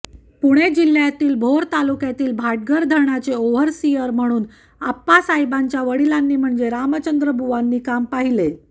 पुणे जिल्ह्यातील भोर तालुक्यातील भाटघर धरणाचे ओव्हरसिअर म्हणून आप्पासाहेबांच्या वडिलांनी म्हणजेच रामचंद्रबुआंनी काम पाहिले